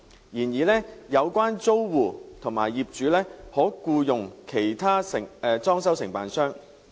然而，有關租戶及業主可僱用其他裝修承辦商。